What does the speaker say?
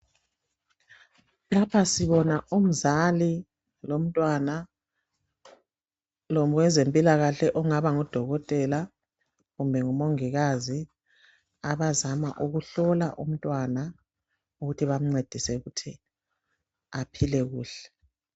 Lapha sibona umzali lomntwana lowezempilakahle ongaba ngudokotela kumbe ngumongikazi abazama ukuhlola abantwana ukuthi bancedise aphile kuhle.